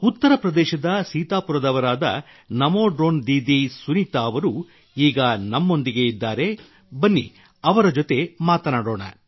ಉತ್ತರ ಪ್ರದೇಶದ ಸೀತಾಪುರದವರಾದ ನಮೋ ಡ್ರೋನ್ ದೀದಿ ಸುನೀತಾ ಅವರು ಈಗ ನಮ್ಮೊಂದಿಗೆ ಇದ್ದಾರೆ ಬನ್ನಿ ಅವರ ಜೊತೆ ಮಾತನಾಡೋಣ